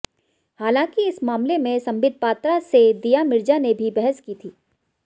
हालांकि इस मामले में संबित पात्रा से दिया मिर्जा ने भी बहस की थी